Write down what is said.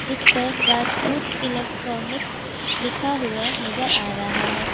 जिसपर राजपूत इलेक्ट्रॉनिक लिखा हुआ नजर आ रहा है।